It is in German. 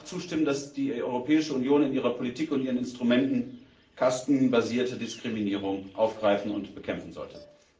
Würden Sie mir auch zustimmen, dass die Europäische Union in ihrer Politik und ihren Instrumenten kastenbasierte Diskriminierung aufgreifen und bekämpfen sollte?